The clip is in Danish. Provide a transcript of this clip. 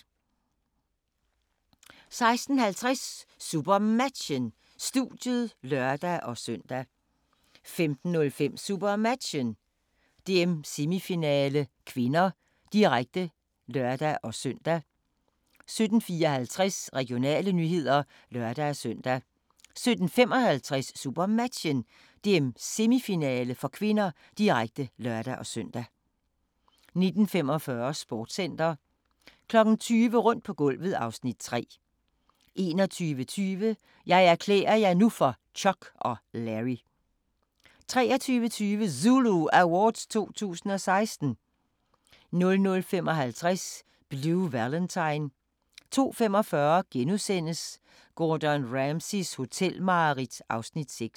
16:50: SuperMatchen: Studiet (lør-søn) 17:05: SuperMatchen: DM-semifinale (k), direkte (lør-søn) 17:54: Regionale nyheder (lør-søn) 17:55: SuperMatchen: DM-semifinale (k), direkte (lør-søn) 19:45: Sportscenter 20:00: Rundt på gulvet (Afs. 3) 21:20: Jeg erklærer jer nu for Chuck og Larry 23:20: ZULU Awards 2016 00:55: Blue Valentine 02:45: Gordon Ramsays hotelmareridt (Afs. 6)*